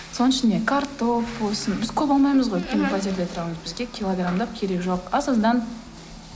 соның ішіне картоп болсын біз көп алмаймыз ғой өйткені пәтерде тұрамыз бізге килограмдап керегі жоқ аз аздан